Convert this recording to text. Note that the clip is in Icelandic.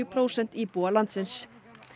prósent íbúa landsins